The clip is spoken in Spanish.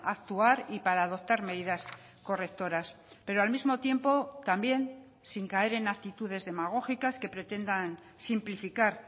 actuar y para adoptar medidas correctoras pero al mismo tiempo también sin caer en actitudes demagógicas que pretendan simplificar